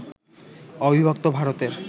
অবিভক্ত ভারতের